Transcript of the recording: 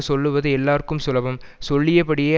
சொல்லுவது எல்லார்க்கும் சுலபம் சொல்லியபடியே